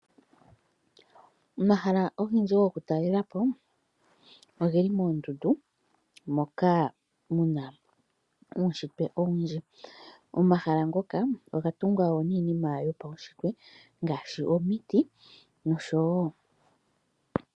Omahala ogendji gokutalalepo ogeli moondundu, moka muna uushintwe owundji. Momahala moka ohamu adhika iinima yopaushintwe ngaashi, omiti nosho tuu.